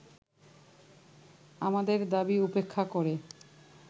আমাদের দাবী উপেক্ষা করে